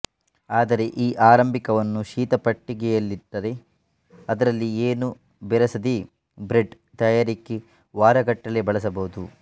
ಆದರೆ ಈ ಆರಂಭಿಕವನ್ನು ಶೀತ ಪೆಟ್ಟಿಗೆಯಲ್ಲಿಟ್ಟರೆ ಅದರಲ್ಲಿ ಏನೂ ಬೆರೆಸದೇ ಬ್ರೆಡ್ ತಯಾರಿಕೆಗೆ ವಾರಗಟ್ಟಲೇ ಬಳಸಬಹುದು